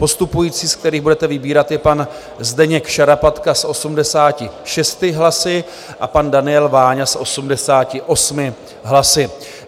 Postupující, ze kterých budete vybírat, je pan Zdeněk Šarapatka s 86 hlasy a pan Daniel Váňa s 88 hlasy.